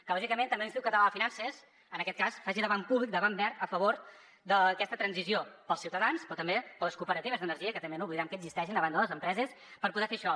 que lògicament també l’institut català de finances en aquest cas faci de banc públic de banc verd a favor d’aquesta transició per als ciutadans però també per a les cooperatives d’energia que també no oblidem que existeixen a banda de les empreses per poder fer això